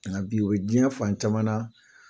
Kana bi olo diɲɛ fan caman